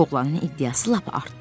Oğlanın iddiası lap artdı.